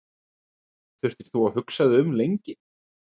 Þurftir þú að hugsa þig lengi um?